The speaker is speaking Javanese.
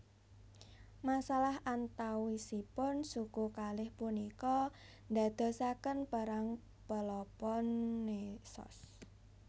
Masalah antawisipun suku kalih punika ndadosaken Perang Peloponnesos